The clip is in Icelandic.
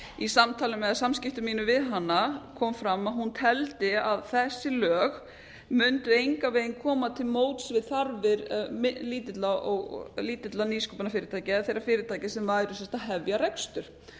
í samtali eða samskiptum mínum við hana kom fram að hún teldi að þessi lög mundu engan veginn koma til móts við þarfir lítil og lítilla nýsköpunarfyrirtækja eða þeirra fyrirtækja sem væru að hefja rekstur þar